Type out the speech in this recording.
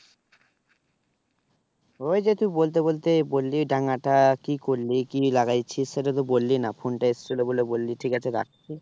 ওই যে তুই বলতে বলতে বললি ডাঙাটা কি করলি কি লাগাইছিস সেটা তো বললি না phone টা এসছিল বলে বললি ঠিক আছে রাখছি।